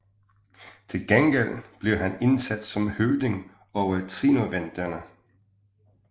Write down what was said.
Til gengæld blev han indsat som høvding over trinovanterne